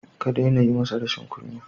Ka daina yi masa rashin kunya.